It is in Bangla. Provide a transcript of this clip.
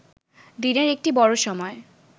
দিনের একটি বড় সময়